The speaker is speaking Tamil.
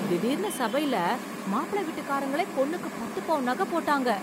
திடீர்னு சபைல மாப்பிள வீட்டுக்காரங்களே பொண்ணுக்கு பத்து பவுன் நகை போட்டாங்க!